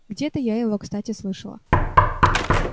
где-то я его кстати слышала